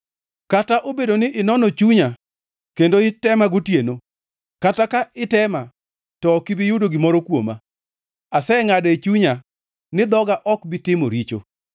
Kata obedo ni inono chunya kendo itema gotieno, kata ka itema to ok ibi yudo gimoro kuoma; asengʼado e chunya ni dhoga ok bi timo richo.